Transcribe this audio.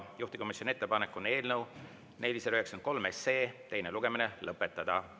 Juhtivkomisjoni ettepanek on eelnõu 493 teine lugemine lõpetada.